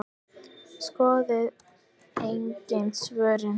Skoðið einnig svörin